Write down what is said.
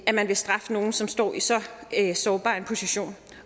at man vil straffe nogen som står i så sårbar en position